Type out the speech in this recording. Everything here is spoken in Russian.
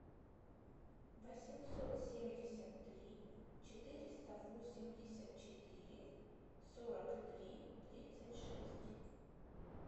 восемьсот семьдесят три четыреста восемьдесят четыре сорок три тридцать шесть